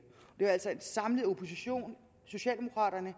det er altså en samlet opposition socialdemokraterne